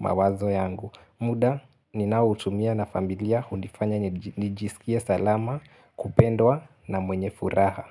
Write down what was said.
mawazo yangu. Muda ninaoutumia na familia hunifanya nijiskie salama kupendwa na mwenye furaha.